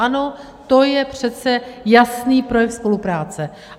Ano, to je přece jasný projev spolupráce.